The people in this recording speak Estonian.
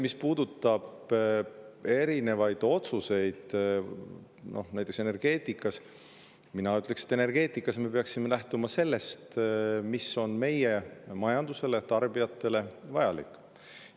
Mis puudutab erinevaid otsuseid energeetikas, siis mina ütleksin, et me peaksime lähtuma sellest, mis on meie majandusele ja tarbijatele vajalik.